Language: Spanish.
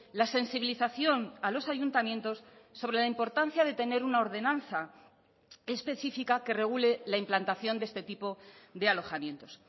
la sensibilización a los ayuntamientos sobre la importancia de tener una ordenanza específica que regule la implantación de este tipo de alojamientos